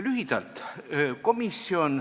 Lühidalt.